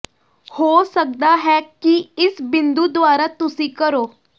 ਹੋ ਸਕਦਾ ਹੈ ਕਿ ਇਸ ਬਿੰਦੂ ਦੁਆਰਾ ਤੁਸੀਂ ਕਰੋ